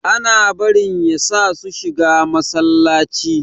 Ana barin yasa su shiga Masallaci.